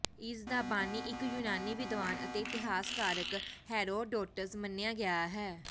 ਇਸ ਦਾ ਬਾਨੀ ਇਕ ਯੂਨਾਨੀ ਵਿਦਵਾਨ ਅਤੇ ਇਤਿਹਾਸਕਾਰ ਹੈਰੋਡੋਟਸ ਮੰਨਿਆ ਗਿਆ ਹੈ